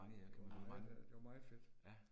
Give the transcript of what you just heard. Det var meget øh, det var meget fedt